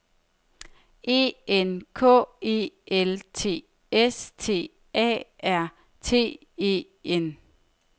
E N K E L T S T A R T E N